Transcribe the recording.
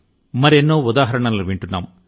మరెన్నో ఉదాహరణలను వింటున్నాం